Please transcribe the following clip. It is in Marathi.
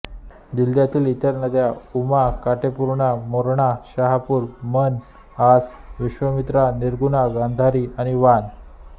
जिल्ह्यातील इतर नद्या उमा काटेपूर्णा मोर्णा शहानूर मन आस विश्वामित्री निर्गुणा गांधारी आणि वान